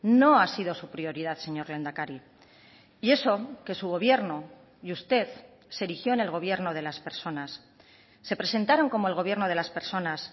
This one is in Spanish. no ha sido su prioridad señor lehendakari y eso que su gobierno y usted se erigió en el gobierno de las personas se presentaron como el gobierno de las personas